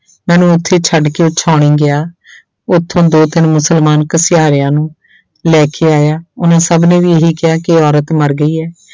ਮੈਨੂੰ ਉੱਥੇ ਛੱਡ ਕੇ ਉਹ ਸਾਉਣੀ ਗਿਆ ਉੱਥੋਂ ਦੋ ਤਿੰਨ ਮੁਸਲਮਾਨ ਘਸਿਆਰਿਆਂ ਨੂੰ ਲੈ ਕੇ ਆਇਆ, ਉਹਨਾਂ ਸਭ ਨੇ ਵੀ ਇਹੀ ਕਿਹਾ ਕਿ ਔਰਤ ਮਰ ਗਈ ਹੈ।